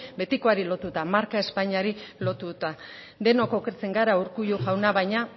betikoari lotuta marka espainiari lotuta denok okertzen gara urkullu jauna baina